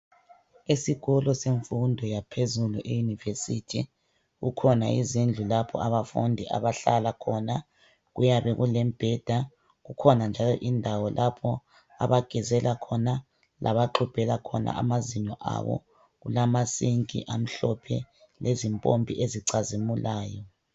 Esikolo semfundo yaphezulu, e university, kukhona izindlu lapho abafundi abahlala khona kuyabe kulembheda kukhona njalo indawo lapho abagezela khona labaxubhela khona amazinyo abo kulama sink amhlophe lezimpompi ezicazimulayo